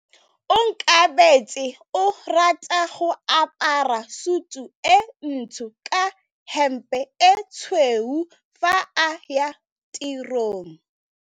Onkabetse o rata go apara sutu e ntsho ka hempe e tshweu fa a ya tirong.